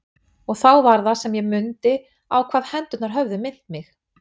Og þá var það sem ég mundi á hvað hendurnar höfðu minnt mig.